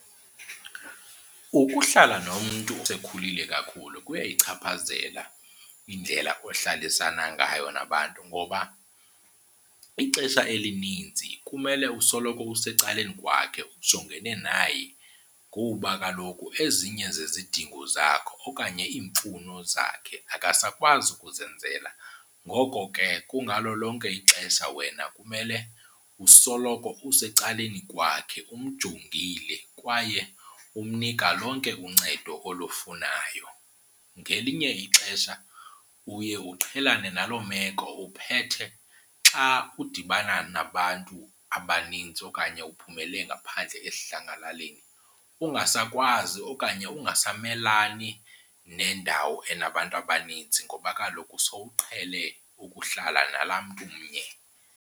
Ukuhlala nomntu osekhulile kakhulu kuyayichaphazela indlela ohlalisana ngayo nabantu ngoba ixesha elininzi kumele usoloko usecaleni kwakhe ujongene naye kuba kaloku ezinye zezidingo zakho okanye iimfuno zakhe akasakwazi ukuzenzela. Ngoko ke kungalo lonke ixesha wena kumele usoloko usecaleni kwakhe umjongile kwaye umnika lonke uncedo olufunayo. Ngelinye ixesha uye uqhelane naloo meko uphethe xa udibana nabantu abanintsi okanye uphumele ngaphandle esidlangalaleni ungasakwazi okanye ungasamelani nendawo enabantu abanintsi ngoba kaloku sowuqhele ukuhlala nalaa mntu mnye.